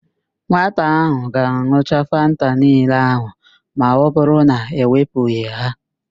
Nwata ahụ ga-an̄ucha Fanta niile ahụ ma ọbụrụ na e wepụghị ha